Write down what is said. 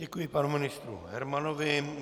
Děkuji panu ministru Hermanovi.